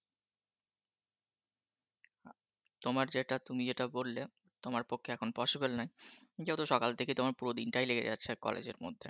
তোমার যেটা তুমি যেটা বললে তোমার পক্ষে এখন possible নয় যেহেতু সকাল থেকে তোমার পুরো দিনটাই লেগে যাচ্ছে আর college মধ্যে।